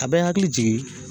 A bɛ n hakili jigin.